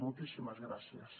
moltíssimes gràcies